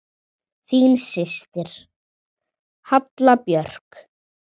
Þín systir, Halla Björk.